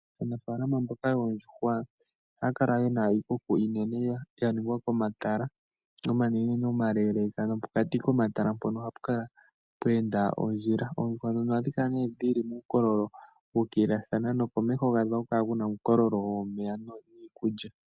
Aanafaalama mboka yoondjuhwa ohaya kala yena iikuku iinene yaningwa momatala omanene omaleeleka nopokati komatala mpoka ohapu kala pweenda ondjila. Oonduhwa dhono ohadhi kala ne dhili muukoololo wuukililathana nokomeho gadho ohakukala kuna uukoololo womeya niikulya.